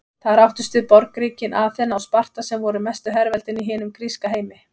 Þar áttust við borgríkin Aþena og Sparta sem voru mestu herveldin í hinum gríska heimi.